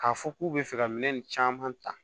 K'a fɔ k'u bɛ fɛ ka minɛn caman ta